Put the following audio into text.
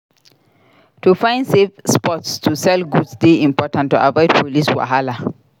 To find safe spots to sell goods dey important to avoid police wahala.